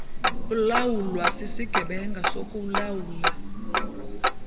ulawulwa sisigqeba sokuulawula